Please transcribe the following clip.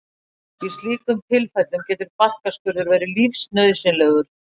Í slíkum tilfellum getur barkaskurður verið lífsnauðsynlegur.